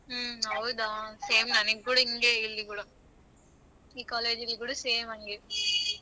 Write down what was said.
ಹ್ಮ ಹೌದಾ same ನನಿಗ ಕೂಡ ಇಂಗೆ ಈ college ಅಲ್ಲಿ ಕೂಡ same ಅಂಗೆ.